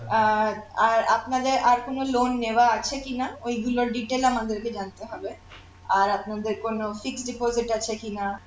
আর আর আপনাদের আর কোন loan নেওয়া আছে কিনা ওইগুলোর detail আমাদেরকে জানতে হবে আর আপনাদের কোন fixed deposit আছে কিনা